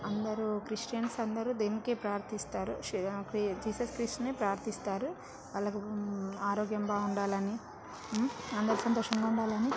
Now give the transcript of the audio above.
అందరు క్రిష్టియన్స్ అందరు దీనికే ప్రార్ధిస్తారు జీసస్ క్రిస్ట్ ని ప్రార్ధిస్తారు వాళ్ళకు ఆరోగ్యం బాగుండాలి అని అందరు సంతోషంగా ఉండాలి అని